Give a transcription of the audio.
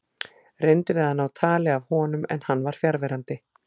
Reyndum við að ná tali af honum en hann var fjarverandi.